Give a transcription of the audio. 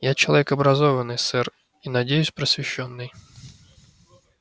я человек образованный сэр и надеюсь просвещённый